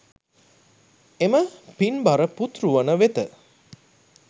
එම පින්බර පුත්රුවන වෙත